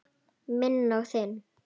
Minn og þinn.